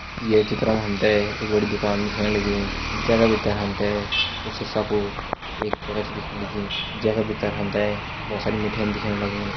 ये चित्र मा हम तैं एक बड़ी दुकान दिखेण लगीं जै का भीतर हम तैं कुछ शीशा कू एक जगह दिखेण लगीं जै का भीतर हम तैं बहुत सारी मिठाई दिखेण लगीं।